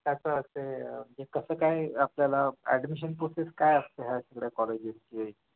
त्याच असे कसं काय आपल्याला admission process काय असते असल्या कॉलेजेसची